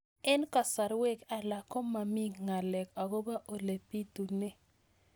Eng' kasarwek alak ko mami ng'alek akopo ole pitunee